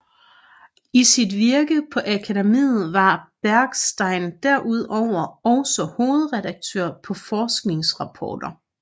I sit virke på akademiet var Bergstein derudover også hovedredaktør på forskningsrapporter